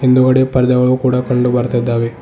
ಹಿಂದುಗಡೆ ಪಾರ್ದೆಗಳು ಕೂಡ ಕಂಡು ಬರ್ತಿದ್ದಾವೆ.